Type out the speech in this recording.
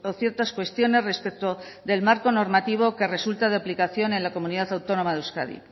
ciertas cuestiones respecto del marco normativo que resulta de aplicación en la comunidad autonomía de euskadi